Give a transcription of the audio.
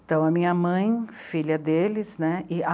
Então, a minha mãe, filha deles, né? e a